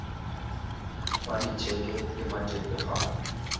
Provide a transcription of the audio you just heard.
ba letšeke le matepe ga